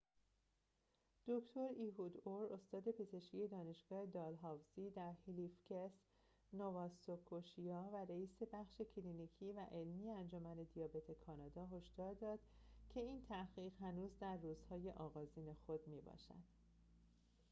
دکتر ایهود اور استاد پزشکی دانشگاه دالهاوزی در هلیفکس نوااسکوشیا و رئیس بخش کلینیکی و علمی انجمن دیابت کانادا هشدار داد که این تحقیق هنوز در روزهای آغازین خود می‌باشد